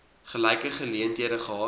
gelyke geleenthede gehad